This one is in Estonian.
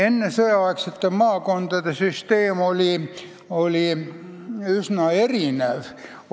Ennesõjaaegne maakondade süsteem oli meil üsna erinev.